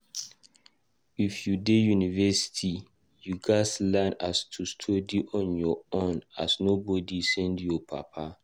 If u dey university, u ghas learn as to study on ur own as nobody send ur papa.